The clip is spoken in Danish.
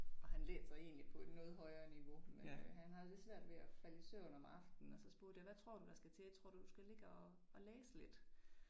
Jeg han læser egentlig på et noget højere niveau men øh han har lidt svært ved og falde i søvn om aftenen og så spurgte jeg hvad tror du, der skal til? Tror du du skal ligge og læse lidt?